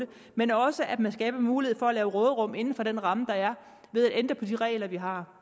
men også at man skaber mulighed for at lave råderum inden for den ramme der er ved at ændre på de regler vi har